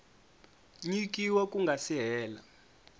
nyikiwa ku nga si hela